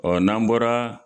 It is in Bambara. n'an bɔra